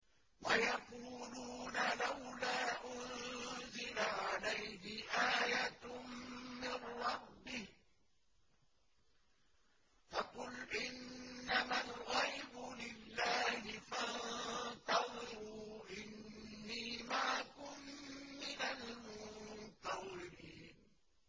وَيَقُولُونَ لَوْلَا أُنزِلَ عَلَيْهِ آيَةٌ مِّن رَّبِّهِ ۖ فَقُلْ إِنَّمَا الْغَيْبُ لِلَّهِ فَانتَظِرُوا إِنِّي مَعَكُم مِّنَ الْمُنتَظِرِينَ